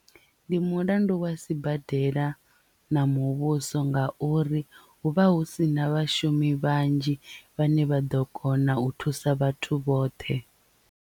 Ndi mulandu wa sibadela na muvhuso nga uri hu vha hu sina vhashumi vhanzhi vhane vha ḓo kona u thusa vhathu vhoṱhe.